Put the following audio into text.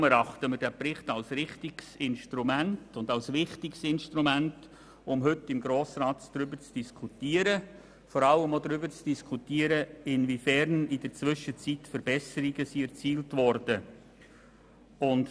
Deshalb erachten wir diesen Bericht als wichtiges Instrument, um im Grossen Rat über diese Sache zu diskutieren und uns vor allem darüber zu unterhalten, inwiefern in der Zwischenzeit Verbesserungen erzielt wurden.